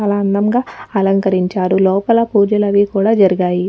అలా అందంగా అలంకరించారులోపల పూజలు అవి కూడా జరిగాయి.